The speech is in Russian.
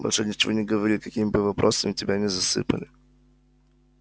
больше ничего не говори какими бы вопросами тебя ни засыпали